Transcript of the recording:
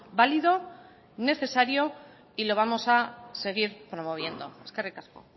válido necesario y lo vamos a seguir promoviendo eskerrik asko